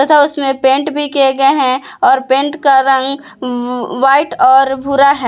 तथा उसमें पेंट भी किए गए हैं और पेंट का रंग वा व्हाइट और भुरा है।